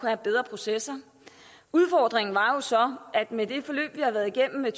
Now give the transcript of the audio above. have bedre processer udfordringen var jo så at med det forløb vi har været igennem med